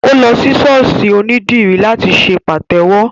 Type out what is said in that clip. Ó lọ sí ṣọ́ọ̀ṣì ònídìrí láti ṣe pàtẹ́wọ́